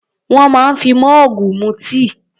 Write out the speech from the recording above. Wọ́n máa ń fi mọ́ọ̀gù mu tíì.